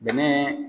Bɛnɛ